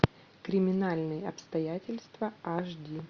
криминальные обстоятельства аш ди